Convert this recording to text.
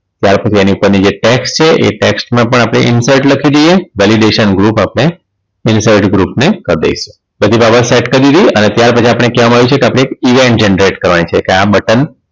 ત્યાર પછી એની ઉપરની જે tax છે એ tax માં પણ આપણે insert લખી દઈએ validation group આપણે insert group ને કરી દઈશું બધી બાબત set કરી દીધી અને ત્યાર પછી આપણે કહેવામાં આવ્યું છે કે આપણે એક event generate કરવાની છે એટલે આ button